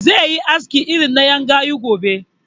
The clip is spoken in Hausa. Zai yi aski irin na ƴan gayu gobe